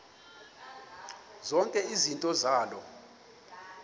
zonke izinto zaloo